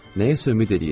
Nəyəsə ümid eləyirəm.